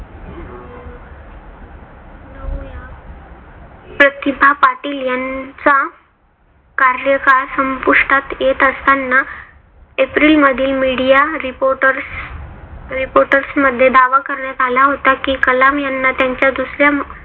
प्रतिभा पाटील यांचा कार्यकाळ संपुष्टात येत असताना एप्रिल मधील media reporters reporters मध्ये दावा करण्यात आला होता कि कलाम यांना त्यांच्या दुसऱ्या